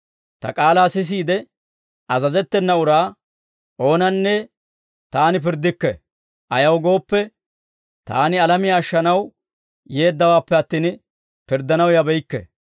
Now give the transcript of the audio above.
Ta k'aalaa sisiide azazettena uraa oonanne Taani pirddikke; ayaw gooppe, Taani alamiyaa ashshanaw yeeddawaappe attin, pirddanaw yabeykke.